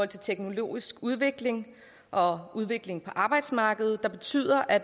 til teknologisk udvikling og udvikling på arbejdsmarkedet der betyder at